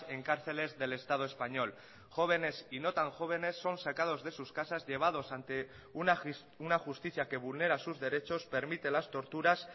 en cárceles del estado español jóvenes y no tan jóvenes son sacados de sus casas llevadas ante una justicia que vulnera sus derechos permite las torturas